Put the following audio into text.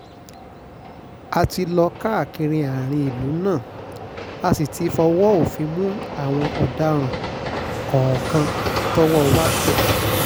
a ti lọ káàkiri àárín ìlú náà a sì ti fọwọ́ òfin mú àwọn ọ̀daràn kọ̀ọ̀kan tọ́wọ́ wa tẹ̀